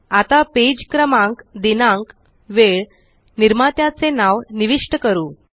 आता पेज क्रमांक दिनांक वेळ निर्मात्याचे नाव निविष्ट करू